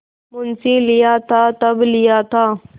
मुंशीलिया था तब लिया था